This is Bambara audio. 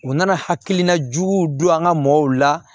U nana hakilina juguw don an ka mɔgɔw la